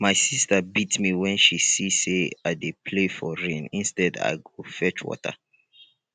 my sister beat me wen she see say i dey play for rain instead i go fetch water